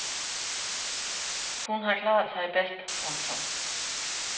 Hun har klaret sig bedst. punktum